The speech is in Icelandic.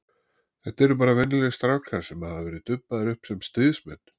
Þetta eru bara venjulegir strákar sem hafa verið dubbaðir upp sem stríðsmenn.